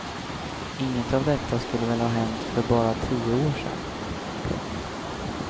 Inget av detta skulle väl ha hänt för bara en tio år sedan. punkt